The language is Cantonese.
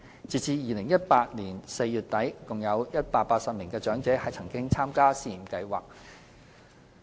截至2018年4月底，共有約180名長者曾參加試驗計劃。